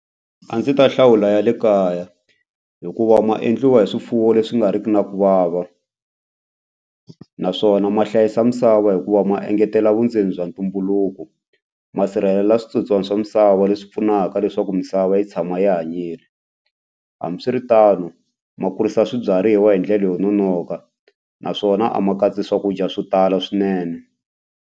A ndzi ta hlawula ya le kaya hikuva ma endliwa hi swifuwo leswi nga riki na ku vava naswona ma hlayisa misava hikuva ma engetela vundzeni bya ntumbuluko masirhelela switsotswana swa misava leswi pfunaka leswaku misava yi tshama yi hanyile hambiswiritano ma kurisa swibyariwa hi ndlela yo nonoka naswona a ma katsi swakudya swo tala swinene.